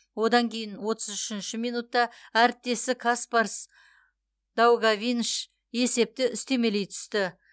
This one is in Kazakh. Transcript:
одан кейін отыз үшінші минутта әріптесі каспарс даугавиньш есепті үстемелей түсті